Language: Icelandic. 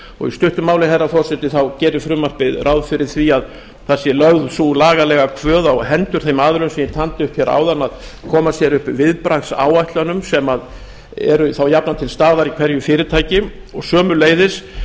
í stuttu máli herra forseti gerir frumvarpið ráð fyrir því að það sé lögð sú lagalega kvöð á hendur þeim aðilum sem ég gjaldi upp hér áðan að koma sér upp viðbragðsáætlunum sem eru þá jafnan til staðar í hverju fyrirtæki og sömuleiðis